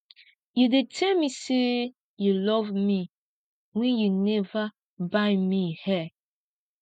you dey tell me say you love me wen you never buy me hair